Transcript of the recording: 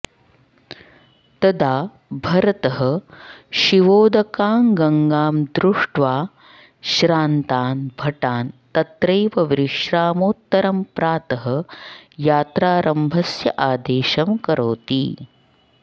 तदा भरतः शिवोदकां गङ्गां दृष्ट्वा श्रान्तान् भटान् तत्रैव विश्रामोत्तरं प्रातः यात्रारम्भस्य आदेशं करोति